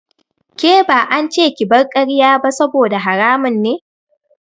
Ke ba ance ki bar karya ba saboda haramun ne.